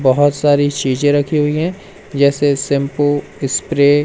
बहुत सारी चीजें रखी हुई हैं जैसे शैंपू स्प्रे ।